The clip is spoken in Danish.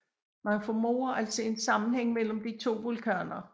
Man formoder altså en sammenhæng mellem de to vulkaner